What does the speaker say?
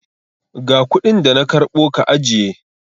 Ga kuɗin da na karɓo ka ajiye!